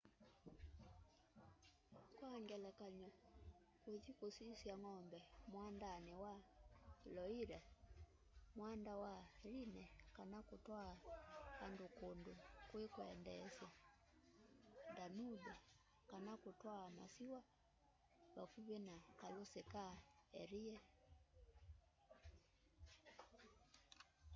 kwang'elekanyo kũthĩ kũsyĩsya ng'ome mwandanĩ wa loĩre mwanda wa rhĩne kana kũtwaa andũ kũndũ kwĩkwendeesya danũbe kana kũtwaa masĩwa vakũvĩ na kalũsĩ ka erie